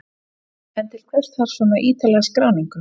En til hvers þarf svona ítarlega skráningu?